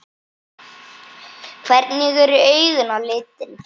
Hvernig eru augun á litinn?